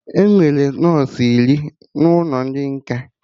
Enwere nọsụ iri n'ụlọ ndị nkà